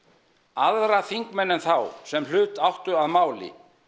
aðra þingmenn en þá sem hlut áttu að máli